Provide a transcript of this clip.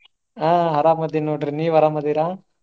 ಆಹ್ ಅರಾಮ ಅದಿನ ನೋಡ್ರಿ ನೀವ್ ಅರಾಮ ಅದಿರಾ?